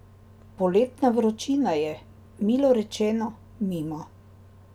Poletna vročina je, milo rečeno, mimo.